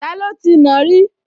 Taló ti nàá rí?